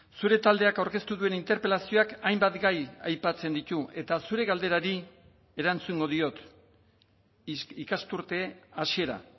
zure taldeak aurkeztu duen interpelazioak hainbat gai aipatzen ditu eta zure galderari erantzungo diot ikasturte hasiera